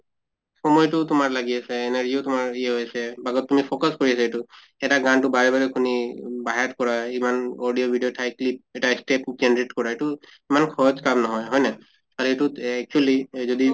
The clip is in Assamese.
সময়্তো তোমাৰ লাগি আছে, energy ও তোমাৰ ই হৈ আছে তুমি focus কৰি আছা এইটো এটা গানটো বাৰে বাৰে শুনি ঊম by hearth কৰা ইমান audio video ঠাই clip এটা step generate কৰা এইটো ইমান সহজ কাম নহয়, হয় নে? আৰু এইটোত actually এহ যদি